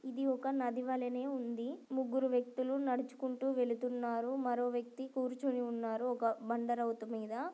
రామ చిలక నాటి జాతికి చెందిన రెండు చిలుకలు కనబడుతున్నాయి. అవి రెండు కూడా తింటున్నాయి. రామ చిలక నాటి జాతికి చెందిన రెండు చిలుకలు కనబడుతున్నాయి. అవి రెండు కూడా తింటున్నాయి.